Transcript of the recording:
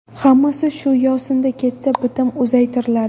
Hammasi shu yo‘sinda ketsa, bitim uzaytiriladi.